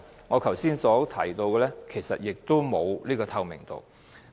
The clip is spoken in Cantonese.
我剛才提到，在這方面並無透明度。